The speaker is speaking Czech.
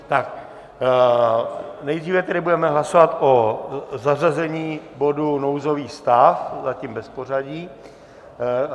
Tak nejdříve tedy budeme hlasovat o zařazení bodu nouzový stav, zatím bez pořadí.